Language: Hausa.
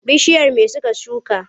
Bishiyar me suka shuka?